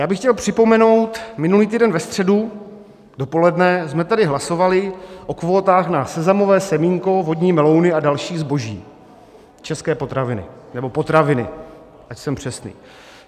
Já bych chtěl připomenout: minulý týden ve středu dopoledne jsme tady hlasovali o kvótách na sezamové semínko, vodní melouny a další zboží, české potraviny, nebo potraviny, ať jsem přesný.